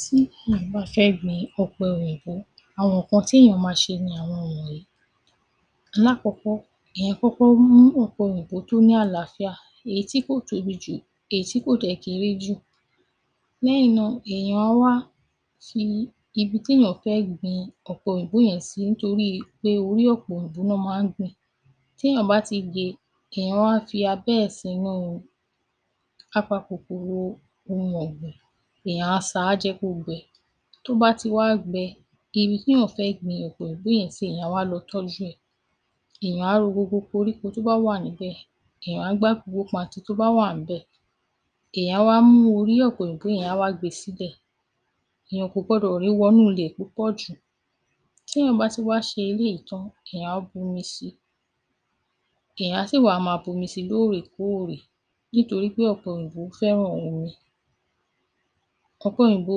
Tí ìwọ̀n bá fẹ́ gbin ọpọ òyìnbó, àwọn kan tí èèyàn má ṣe ni àwọn ohun e. Lápọ́pọ́, ẹ̀yin pọ́pọ́ mún ọpọ òyìnbó tó ní àlàáfíá etí kò tóbi jù, etí kò dẹ̀ kéré jù. Ní ẹ̀yìn náà, èèyàn a wá fi ibi tí èèyàn fẹ́ gbin ọpọ òyìnbó yẹn sí ntorí pé orí ọpọ òyìnbó náà má gbin. Tí èèyàn bá ti gbe, èèyàn a fia bẹ́ẹ̀si inú apapọ̀ pọ̀ l'ohun ọgbẹ̀, èèyàn a sá á jẹ́ kó gbẹ. Tó bá ti wá gbẹ, ibi tí èèyàn fẹ́ gbin ọpọ òyìnbó yẹn si èèyàn wa lọ tọ́ju ẹ. Èèyàn a ro gbogbo korípo tó bá wà níbẹ̀, èèyàn a gba gbogbo pati tó bá wà níbẹ̀, èèyàn wa mú orí ọpọ òyìnbó yẹn wa gbe sídẹ̀. Èèyàn ko gbọdọ̀ rí i wọ́nu ilẹ̀ pupọ ju. Tí èèyàn bá ti wá ṣe ilé ìtán, èèyàn a bumisi. Èèyàn sì wà máa bumisi lórí ikú ore, nítorí pé ọpọ òyìnbó fẹ́ràn ohun mi. Ọpọ òyìnbó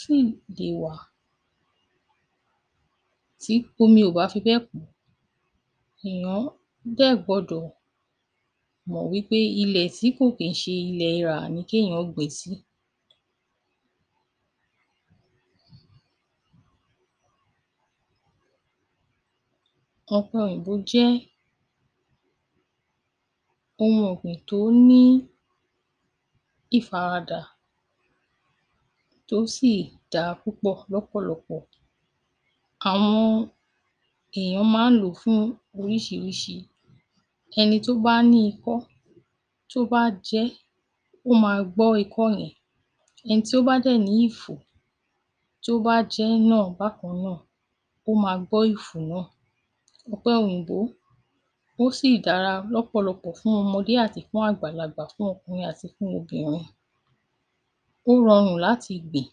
sì di wà, tí omi ó bá fi pẹ́ kù. Èèyàn dẹ́ gbọdọ̀ mọ̀ wípe ilẹ̀ tí kò pínṣe ilẹ̀ ira ní kí èèyàn gbe sí. Ọpọ òyìnbó jẹ́ ohun ọgbìn tó ní ifaradà, tó sì dára púpọ lọ́pọlọpọ àwọn èèyàn máa n lò fún oríṣìírísìí. Ẹni tó bá ni ikọ tó bá jẹ, ó ma gbọ ikọ ẹ̀yìn. Ẹni tí ó bá dẹ̀ ní ìfò tó bá jẹ náà bákan náà, ó ma gbọ́ ìfò náà. Ọpọ òyìnbó sì dára lọ́pọlọpọ fun ọmọde àti fun agbalagba fun ọkùnrin àti ogunrin. Ó rọrun láti igbin.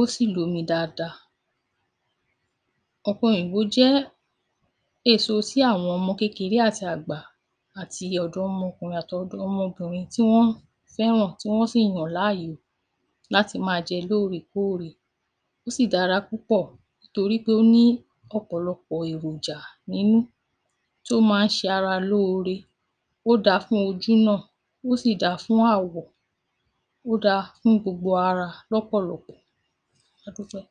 Ó sì lómí dada. Ọpọ òyìnbó jẹ́ èso sí àwọn ọmọ kékeré àti àgbà àti ọ̀dọ́ ọmọkùnrin àti ọ̀dọ́ ọmọ obìnrin tí wọn fẹ́ràn tí wọn sì yan láàyò láti má jẹ lórí ikó ore. Ó sì dára púpọ nítorí pé ó ní ọpọlọpọ èròjà ninú tó má n ṣe ara lóore. Wó da fun ojú náà, ó sì dá fun awọ, ó dá fun gbogbo ara lọpọlọpọ. Àtúnfẹ́